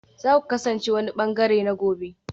Za ku kasance wani ɓangare na gobe